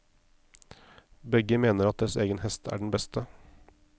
Begge mener at deres egen hest er den beste.